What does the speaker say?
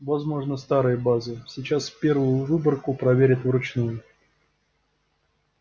возможно старые базы сейчас первую выборку проверяют вручную